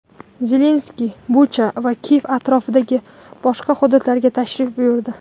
Zelenskiy Bucha va Kiyev atrofidagi boshqa hududlarga tashrif buyurdi.